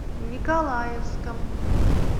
николаевском